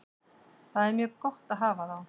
Það er mjög gott að hafa þá.